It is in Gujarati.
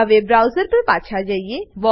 હવે બ્રાઉઝર પર પાછા જઈએ